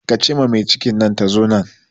Ke ce ma mai cikin nan ta zo nan